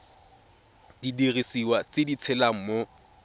didiriswa tse di tshelang mo